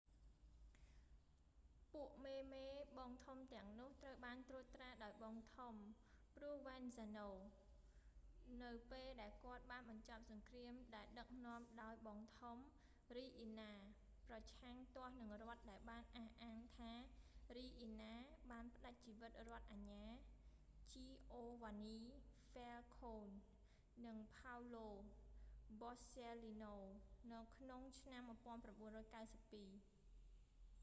ពួកមេ ៗ បងធំទាំងនោះត្រូវបានត្រួតត្រាដោយបងធំ ព្រោវែនហ្សាណូ provenzano នៅពេលដែលគាត់បានបញ្ចប់សង្គ្រាមដែលដឹកនាំដោយបងធំ រីអ៊ីណា riina ប្រឆាំងទាស់នឹងរដ្ឋដែលបានអះអាងថា រីអ៊ីណា riina បានផ្តាច់ជីវិតរដ្ឋអាជ្ញា ជីអូវ៉ានី ហ្វ៊ែលខូន giovanni falcone និងផោវឡូ បសស៊ែលលីណូ paolo borsellino ក្នុងឆ្នាំ 1992